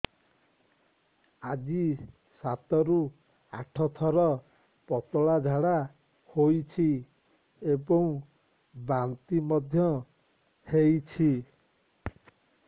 ଆଜି ସାତରୁ ଆଠ ଥର ପତଳା ଝାଡ଼ା ହୋଇଛି ଏବଂ ବାନ୍ତି ମଧ୍ୟ ହେଇଛି